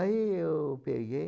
Aí eu peguei.